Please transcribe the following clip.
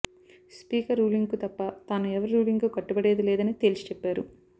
speaker రూలింగ్కు తప్ప తాను ఎవరి రూ లింగ్కు కట్టుబడేది లేదని తేల్చిచెప్పారు